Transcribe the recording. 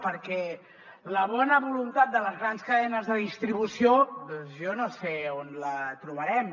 perquè la bona voluntat de les grans cadenes de distribució jo no sé on la trobarem